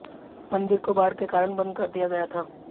मंदिर को बाढ़ के कारण बंद कर दिया गया था